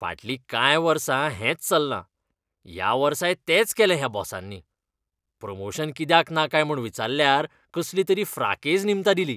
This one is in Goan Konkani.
फाटलीं कांय वर्सां हेंच चल्लां. ह्या वर्साय तेंच केलें ह्या बॉसांनी. प्रमोशन कित्याक ना काय म्हूण विचाल्ल्यार कसलीं तरी फ्राकेझ निमतां दिलीं.